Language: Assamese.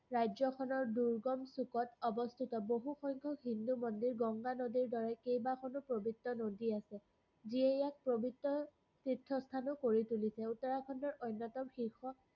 ৰাজ্যখনৰ দূৰ্গম চুকত অৱস্থিত বহু সংখ্যক হিন্দু মন্দিৰ গংগা নদীৰ দৰে কেইবাখনো পৱিত্ৰ নদী আছে। যিয়ে ইয়াক পৱিত্ৰ তীৰ্থস্থানো কৰি তুলিছে। উত্তৰাখণ্ডৰ অন্যতম শীৰ্ষ